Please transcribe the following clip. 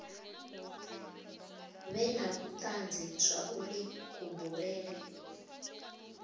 vhe na vhutanzi zwauri kubulele